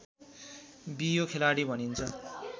बियो खेलाडी भनिन्छ